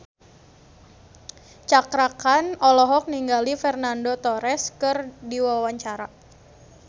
Cakra Khan olohok ningali Fernando Torres keur diwawancara